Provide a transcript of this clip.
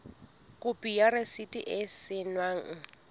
khopi ya rasiti e saennweng